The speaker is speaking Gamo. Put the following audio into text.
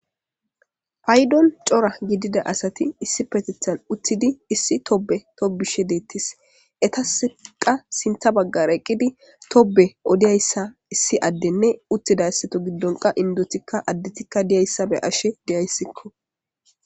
paydon cora gidida asati issipetethan utthidi issi tobe tobishe deettis etasqa sintha baggar eqqidi tobe odiyayssa issi addenne uttidassato giddon qa indotikka addetikka diyayssa be ashe deyayssikko